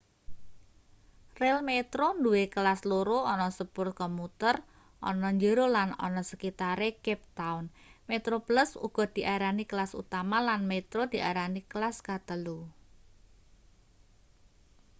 relmetro nduwe kelas loro ana sepur komuter ana njero lan ana sekitare cape town: metroplus uga diarani kelas utama lan metro diarani kelas katelu